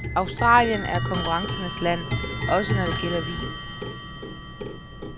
Australien er konkurrencernes land, også når det gælder vin.